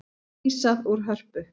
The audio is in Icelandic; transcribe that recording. Vísað úr Hörpu